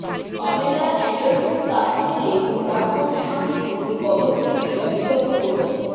পামেলার Anderson তার ছেলে ও প্রাক্তন স্বামীের মধ্যে কলঙ্কের বিষয়ে বিতর্ক করেছেন